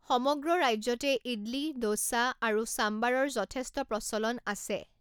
সমগ্ৰ ৰাজ্যতে ইডলি, ডোছা, আৰু সাম্বাৰৰ যথেষ্ট প্ৰচলন আছে।